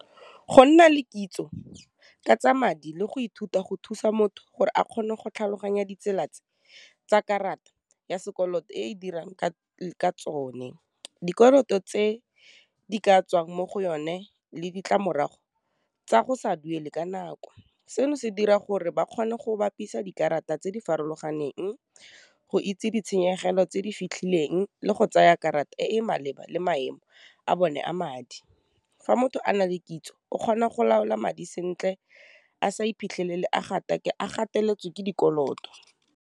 Go nna le kitso ka tsa madi le go ithuta go thusa motho gore a kgone go tlhaloganya ditsela tse tsa karata ya sekoloto e e dirang ka tsone. Dikoloto tse di ka tswang mo go yone le ditlamorago tsa go sa duele ka nako, seno se dira gore ba kgone go bapisa dikarata tse di farologaneng go itse ditshenyegelo tse di fitlhileng, le go tsaya karata e maleba le maemo a bone a madi, fa motho a na le kitso o kgona go laola madi sentle a sa iphitlhelele a gateletswe ke dikoloto.